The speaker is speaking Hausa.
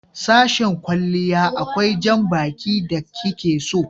Sashen kwalliya akwai janbaki da ki ke so